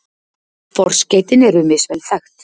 Forskeytin eru misvel þekkt.